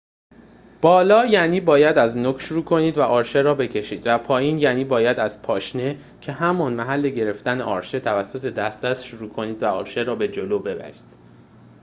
بالا یعنی باید از نوک شروع کنید و آرشه را بکشید، و پایین یعنی باید از پاشنه که همان محل گرفتن آرشه توسط دست است شروع کنید و آرشه را به جلو ببرید